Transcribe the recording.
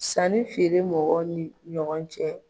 Sannifeere mɔgɔ ni ɲɔgɔn cɛ.